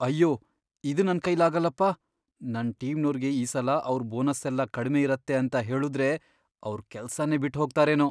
ಅಯ್ಯೋ ಇದ್ ನನ್ ಕೈಲಾಗಲ್ಲಪ್ಪ.. ನನ್ ಟೀಮ್ನೋರ್ಗೆ ಈ ಸಲ ಅವ್ರ್ ಬೋನಸ್ಸೆಲ್ಲ ಕಡ್ಮೆ ಇರತ್ತೆ ಅಂತ ಹೇಳುದ್ರೆ ಅವ್ರ್ ಕೆಲ್ಸನೇ ಬಿಟ್ಹೋಗ್ತಾರೇನೋ.